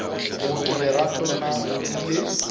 mooki lerato na o ile